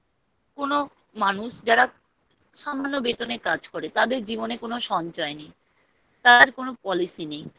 কোনো মানুষ যারা জন্য বেতনে কাজ করে তাদের জীবনে কোনো সঞ্চয় নেই তার কোনো Policy নেই